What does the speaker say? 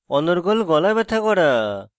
অনর্গল গলা ব্যথা করা